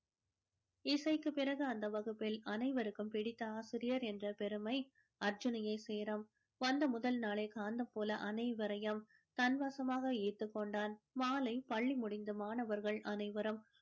இசைக்கு பிறகு அந்த வகுப்பில் அனைவருக்கும் பிடித்த ஆசிரியர் என்ற பெருமை அர்ஜுனையே சேரும் வந்த முதல் நாளே காந்தம் போல அனைவரையும் தன் வசமாக ஈர்த்துக் கொண்டான் மாலை பள்ளி முடிந்து மாணவர்கள் அனைவரும்